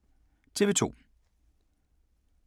TV 2